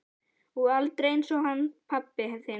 Og aldrei einsog hann pabbi þinn.